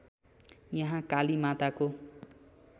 यहाँ काली माताको